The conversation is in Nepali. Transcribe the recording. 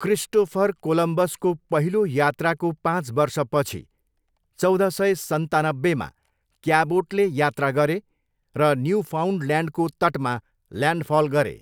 क्रिस्टोफर कोलम्बसको पहिलो यात्राको पाँच वर्षपछि, चौध सय सन्तानब्बेमा क्याबोटले यात्रा गरे र न्युफाउन्डल्यान्डको तटमा ल्यान्डफल गरे।